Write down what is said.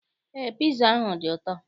Eé, piza ahụ dị ụtọ.